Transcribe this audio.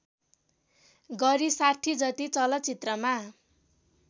गरी ६० जति चलचित्रमा